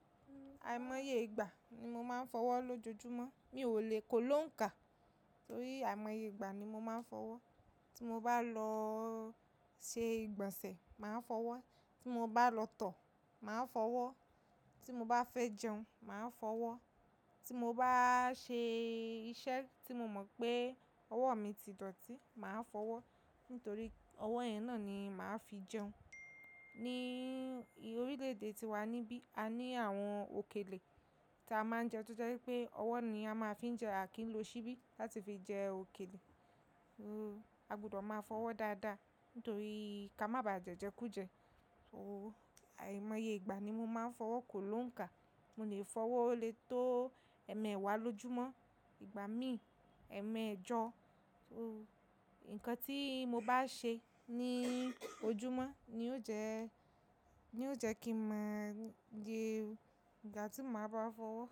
Àìmọye ìgbà ni mo máa ń fọwọ́ lójoojúmọ́. Mi ò lè kó lónkà torí àìmọye ìgbà ni mo máa ń fọwọ́. Tí mo bá lọ ṣe ìgbọ̀nsẹ̀, màá fọwọ́. Tí mo bá lọ tọ̀, màá fọwọ́. Tí mo bá fẹ́ jẹun, màá fọwọ́. Tí mo bá ṣe iṣẹ́ tí mo mọ̀ pé ọwọ́ mi ti dọ̀tí, màá fọwọ́. Nítorí ọwọ́ yẹn náà ni màá fi jẹun. Ní orílẹ̀ èdè tí wà níbí, a ní àwọn òkèlè tí a máa ń jẹ tó jẹ́ wípé ọwọ́ ni a máa fi ń jẹ à kí ń lo ṣíbí láti fi jẹ òkèlè. A gbọdọ̀ máa fọwọ́ dáadáa nítorí ká má ba à jẹ́jẹ kú jẹ. So àìmọye ìgbà ni mo máa ń fọwọ́ kó lónkà. Mo lè fọwọ́ lé tó ẹ̀ẹ̀mẹwàá lójúmọ́, ìgbà míì ẹ̀ẹ̀mẹ́ẹ̀jọ. Nǹkan tí mo bá ṣe ní ojúmọ́ ni ó jẹ, ní ó jẹ́ kí mo mọ ìgbà tí mo máa bá fọwọ́